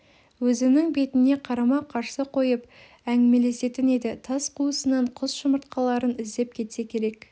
өзінің бетіне қарама-қарсы қойып әңгімелесетін еді тас қуысынан құс жұмыртқаларын іздеп кетсе керек